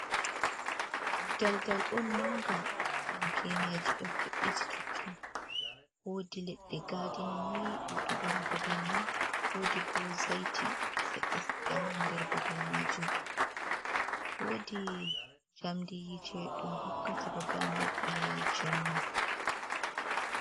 Daldal on manga dum geneji ɗo ve’’iti tottun wodi leɗɗe gadina ni ɗuɗugo ha babal mai wodi bo zaiti seɗɗa seɗɗa ha nder babal majum wodi jamdi yite ɗum hokkata babal mai ilal jemma.